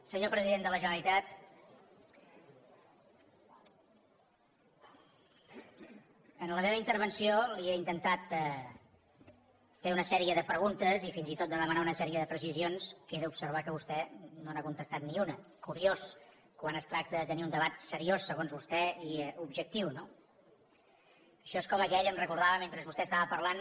senyor president de la generalitat en la meva intervenció li he intentat fer una sèrie de preguntes i fins i tot de demanar una sèrie de precisions que he d’observar que vostè no n’ha contestat ni una curiós quan es tracta de tenir un debat seriós segons vostè i objectiu no això és com aquell em recordava mentre vostè estava parlant